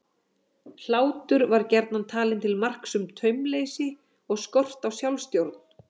Hlátur var gjarnan talinn til marks um taumleysi og skort á sjálfstjórn.